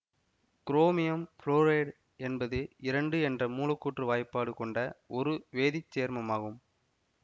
chromium fluoride என்பது இரண்டு என்ற மூலக்கூற்று வாய்ப்பாடு கொண்ட ஒரு வேதி சேர்மம் ஆகும்